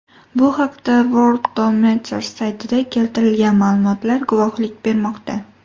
Bu haqda Worldometers saytida keltirilgan ma’lumot guvohlik bermoqda.